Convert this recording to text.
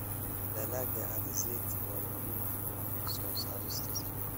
Dalagga alizeti waa muhiim u ah soo saarista saliidda.